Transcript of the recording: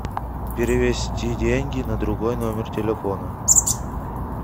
перевести деньги на другой номер телефона